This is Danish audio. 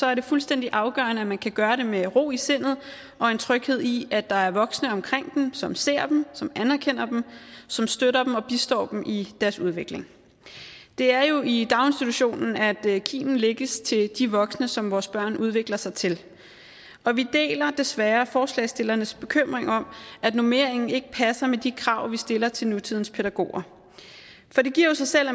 er det fuldstændig afgørende at man kan gøre det med ro i sindet og har en tryghed i at der er voksne omkring dem som ser dem som anerkender dem som støtter dem og bistår dem i deres udvikling det er jo i daginstitutionen at kimen lægges til de voksne som vores børn udvikler sig til og vi deler desværre forslagsstillernes bekymring om at normeringen ikke passer med de krav vi stiller til nutidens pædagoger det giver jo sig selv